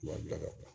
Wari bila ka